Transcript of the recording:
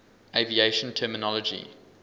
aviation terminology